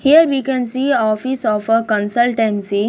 Here we can see office of a consultancy.